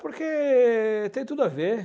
Porque tem tudo a ver.